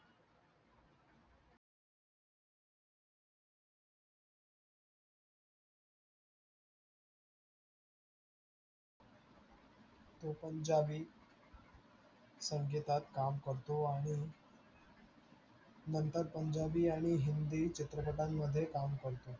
हो पंजाबी संगीतात काम करतो आणि नंतर पंजाबी आणि हिन्दी चित्रपटांमध्ये काम करतो.